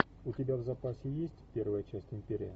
у тебя в запасе есть первая часть империя